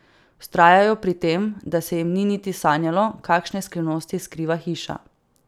Vztrajajo pri tem, da se jim ni niti sanjalo, kakšne skrivnosti skriva hiša.